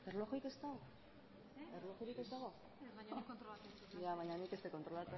beno ba